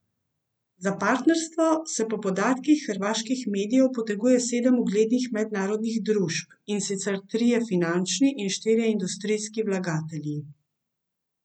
Za partnerstvo se po podatkih hrvaških medijev poteguje sedem uglednih mednarodnih družb, in sicer trije finančni in štirje industrijski vlagatelji.